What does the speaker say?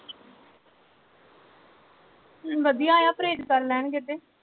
ਵਧੀਆ ਆ ਪਰਹੇਜ ਕਰ ਲੈਣਗੇ ਤੇ